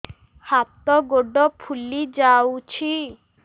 ହାତ ଗୋଡ଼ ଫୁଲି ଯାଉଛି